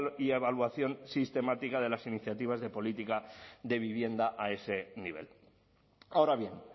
y evaluación sistemática de las iniciativas de política de vivienda a ese nivel ahora bien